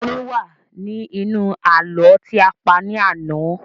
Orin wa ni inú ààlọ́ ti a pa ní àná